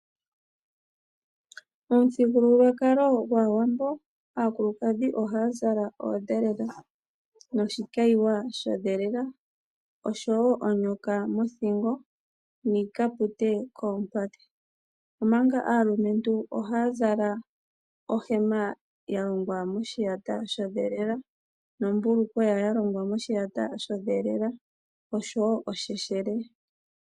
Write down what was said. Momuthigululwakalo gwaawambo aakulukadhi ohaya zala oodhelela noshikayiwa sho dhelela, oonyoka mothingo niikapute koompadhi, omanga aalumentu ohaya zala ohema ya longwa moshiyata sho dhelela nombulukweya yalongwa moshiyata sho dhelela osho wo osheshele.